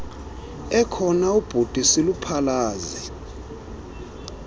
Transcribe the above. ekhona ubhuti siluphalaze